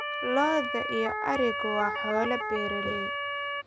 Lo'da iyo arigu waa xoolo beeraley.